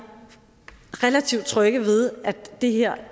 relativt trygge ved at det her